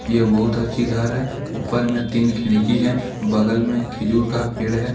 यह बहुत अच्छी घर है ऊपर में तीन खिड़की है बगल में खिजुर का पेड़ है।